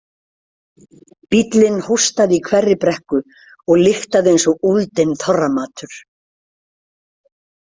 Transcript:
Bíllinn hóstaði í hverri brekku og lyktaði eins og úldinn þorramatur.